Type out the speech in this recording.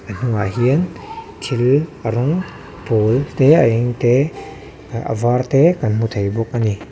a hnungah hian thil a rawng pawl te a eng te a var te kan hmu thei bawk ani.